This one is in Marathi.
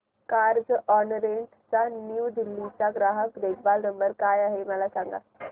कार्झऑनरेंट न्यू दिल्ली चा ग्राहक देखभाल नंबर काय आहे मला सांग